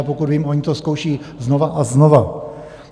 A pokud vím, oni to zkouší znova a znova.